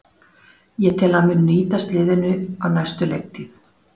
Ég tel að hann muni nýtast liðinu á næstu leiktíð.